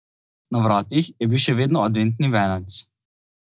Na vratih je bil še vedno adventni venec.